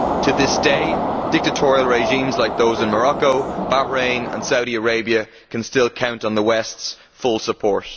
To this day, dictatorial regimes like those in Morocco, Bahrain and Saudi Arabia can still count on the West's full support.